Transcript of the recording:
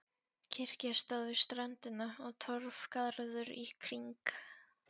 Kirkja stóð við ströndina og torfgarður í kring.